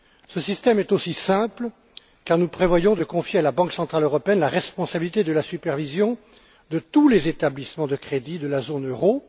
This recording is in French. Ce système est aussi simple car nous prévoyons de confier à la Banque centrale européenne la responsabilité de la supervision de tous les établissements de crédit de la zone euro.